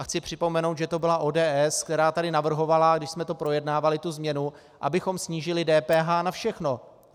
A chci připomenout, že to byla ODS, která tady navrhovala, když jsme to projednávali, tu změnu, abychom snížili DPH na všechno.